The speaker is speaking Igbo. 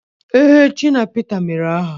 Ee, Shina Pita mere aha